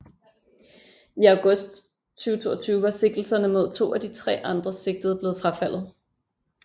I august 2022 var sigtelserne mod to af de tre andre sigtede blevet frafaldet